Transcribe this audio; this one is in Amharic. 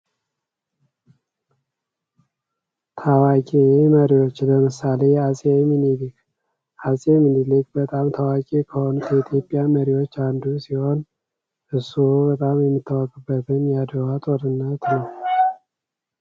አጼ ምኒልክ የኢትዮጵያ ንጉሠ ነገሥት የነበሩ ሲሆን ከ1881 እስከ ዕለተ ሞታቸው ድረስ ኢትዮጵያን በብቃትና በጥበብ መርተዋል። በኢትዮጵያ ታሪክ ውስጥ ትልቅ ቦታ የሚሰጣቸው መሪ ናቸው።